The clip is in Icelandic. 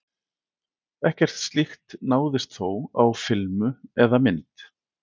Ekkert slíkt náðist þó á filmu eða mynd.